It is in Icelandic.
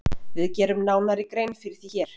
Við gerum nánari grein fyrir því hér.